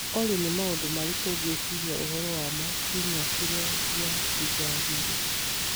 Olly nĩ maũndũ marĩkũ ngũciria ũhoro wamo kiumia kĩrĩa gĩatigarire